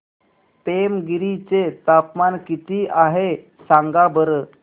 पेमगिरी चे तापमान किती आहे सांगा बरं